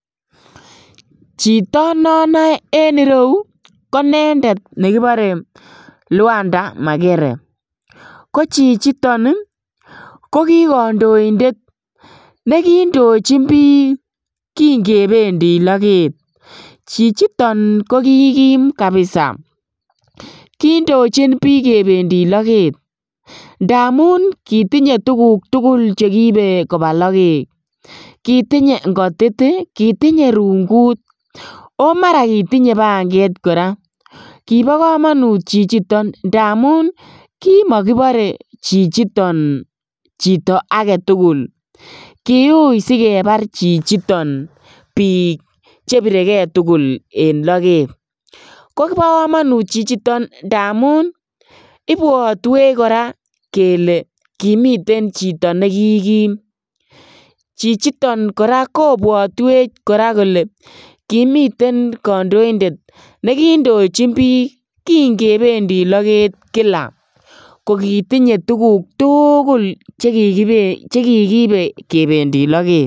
Chito nonoe en reyu ko nendet nekipore Lwanda Makere ko chichiton ko ki kandoindet nekindochin biik kinkependi loket. Chichiton ko ki kim kapisa, kindochin biik kinkependi loket ndamun kitinye tuguk tukul chekiipe kopa loket, kitinye ng'otit, kitinye rungut ako mara kitinye panket kora. Kipo komonut chichiton ndamun kimokipore chichiton chito aketukul, kiuy sikepar chichiton biik chipirekei tukul en loket ko kipo komonut chichiton ndamun ipwotwech kora kele kimiten chito nekikim. Chichiton kora kobwotwech kora kole kimiten kandoindet nekindochin biik kinkependi loket kila kokitinye tuguk tukul chekikiipe kependi loket.